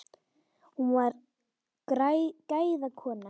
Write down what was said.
Hún var gæða kona.